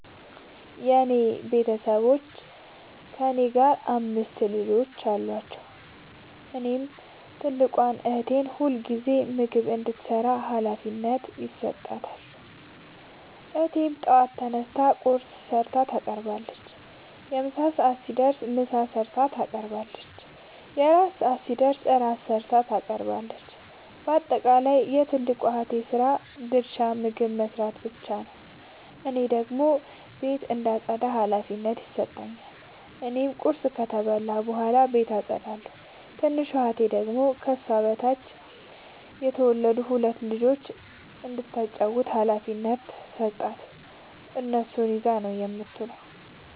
የኔ ቤተሠቦይ ከእኔ ጋር አምስት ልጆች አሏቸዉ። እናም ትልቋን እህቴ ሁልጊዜም ምግብ እንድትሰራ ሀላፊነት ይሠጣታል። እህቴም በጠዋት ተነስታ ቁርስ ሠርታ ታቀርባለች። የምሣ ሰዓት ሲደርስም ምሳ ሠርታ ታቀርባለች። የእራት ሰዓት ሲደርስም ራት ሠርታ ታቀርባለች። ባጠቃለይ የትልቋ እህቴ የስራ ድርሻ ምግብ መስራት ብቻ ነዉ። እኔን ደግሞ ቤት እንዳጠዳ ሀላፊነት ይሠጠኛል። እኔም ቁርስ ከበላሁ በኃላ ቤቱን አጠዳለሁ። ትንሿ እህቴ ደግሞ ከሷ በታች የተወለዱትን ሁለት ልጆይ እንዳታጫዉታቸዉ ሀላፊነት ስለተሠጣት እነሱን ይዛ ነዉ የምትዉለዉ።